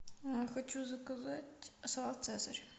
хочу заказать салат цезарь